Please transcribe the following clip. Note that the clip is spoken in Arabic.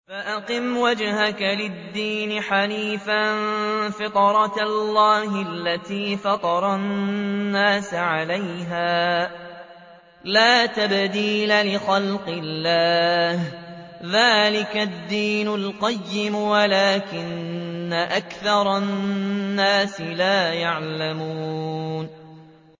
فَأَقِمْ وَجْهَكَ لِلدِّينِ حَنِيفًا ۚ فِطْرَتَ اللَّهِ الَّتِي فَطَرَ النَّاسَ عَلَيْهَا ۚ لَا تَبْدِيلَ لِخَلْقِ اللَّهِ ۚ ذَٰلِكَ الدِّينُ الْقَيِّمُ وَلَٰكِنَّ أَكْثَرَ النَّاسِ لَا يَعْلَمُونَ